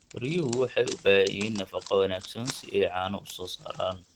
Riyuhu waxay u baahan yihiin nafaqo wanaagsan si ay caano u soo saaraan.